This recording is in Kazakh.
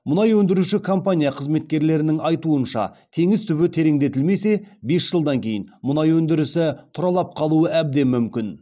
мұнай өндіруші компания қызметкерлерінің айтуынша теңіз түбі тереңдетілмесе бес жылдан кейін мұнай өндірісі тұралап қалуы әбден мүмкін